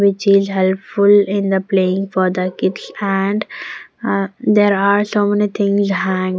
Which is helpful in the playing for the kids and uh there are so many things hang.